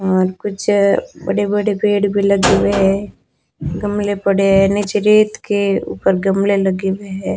और कुछ बड़े बड़े पेड़ भी लगे हुए हैं गमले पड़े हैं नीचे रेत के ऊपर गमले लगे हुए हैं।